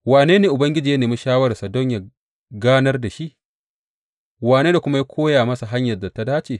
Wane ne Ubangiji ya nemi shawararsa don yă ganar da shi, wane ne kuma ya koya masa hanyar da ta dace?